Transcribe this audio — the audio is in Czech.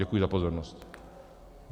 Děkuji za pozornost.